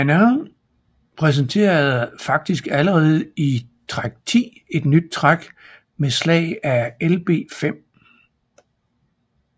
Anand præsenterede faktisk allerede i træk 10 et nyt træk med slag af Lb5